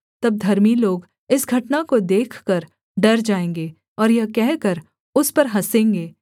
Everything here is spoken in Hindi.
तब धर्मी लोग इस घटना को देखकर डर जाएँगे और यह कहकर उस पर हँसेंगे